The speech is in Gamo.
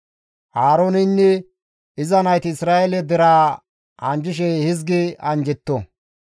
«Aarooneynne iza nayti Isra7eele deraa anjjishe hizgi anjjetto,